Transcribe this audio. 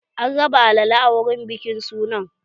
An raba alala a wurin bikin sunan